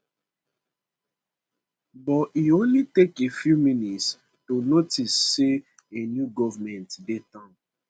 but e only take a few minutes to notice say a new goment dey town